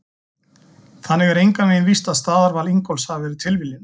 Þannig er engan veginn víst að staðarval Ingólfs hafi verið tilviljun!